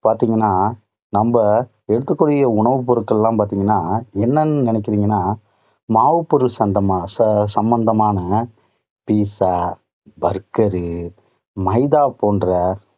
பாத்தீங்கன்னா, நம்ம எடுக்கக்கூடிய உணவு பொருட்களெல்லாம் பார்த்தீங்கன்னா, என்னென்னு நினைக்கிறீங்கன்னா, மாவுப்பொருள் சம்மந்தமான பீட்சா, பர்கர், மைதா போன்ற